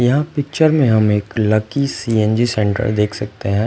यहाँ पिक्चर में हम एक लकी सी_एन_जी सेंटर देख सकते हैं।